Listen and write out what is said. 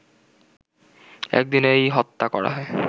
একদিনেই হত্যা করা হয়